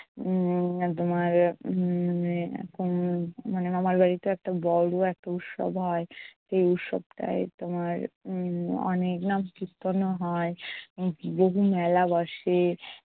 উম তোমার উম উহ মানে মামার বাড়িত একটা বড়ো একটা উৎসব হয়। সেই উৎসবটায় তোমার উম অনেক নাম কীর্তনও হয় উম বহু মেলা বসে